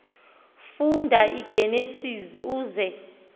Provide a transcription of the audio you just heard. funda igenesis uze